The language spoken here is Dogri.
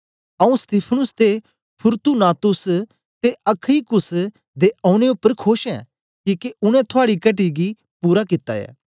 आऊँ स्तिफनुस ते फूर्तूनातुस ते अखईकुस दे औने उपर खोश ऐं किके उनै थुआड़ी घटी गी पूरा कित्ता ऐ